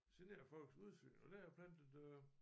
Generer folks udsyn og der har jeg plantet øh